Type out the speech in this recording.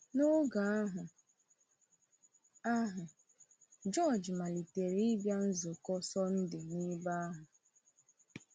N’oge ahụ, ahụ, George malitere ịbịa nzukọ Sọndee n’ebe ahụ.